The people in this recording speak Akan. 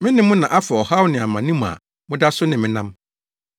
Me ne mo na afa ɔhaw ne amane mu a, moda so ne me nam.